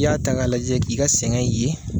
I y'a ta k'a lajɛ k'i ka sɛgɛn ye